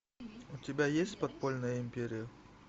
у тебя есть подпольная империя